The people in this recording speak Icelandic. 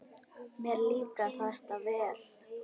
Mér líkar þetta vel.